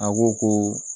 A ko ko